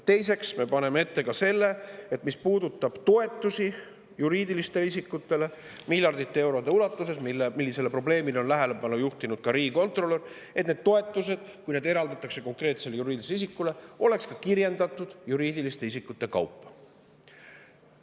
Teiseks, me paneme ette ka selle, et mis puudutab toetusi juriidilistele isikutele miljardite eurode ulatuses – sellele probleemile on tähelepanu juhtinud ka riigikontrolör –, siis need toetused, kui need eraldatakse konkreetsele juriidilisele isikule, peaksid olema kirjendatud juriidiliste isikute kaupa.